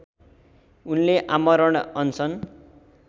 उनले आमरण अनसन